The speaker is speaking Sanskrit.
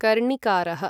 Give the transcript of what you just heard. कर्णिकारः